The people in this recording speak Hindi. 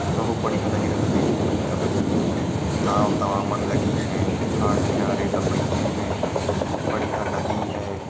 बहुत बढ़िया लग रहा देखने में इनका नाव तमामन लगी है घाट किनारे सब बइठें हैं। बढ़िया नदी है।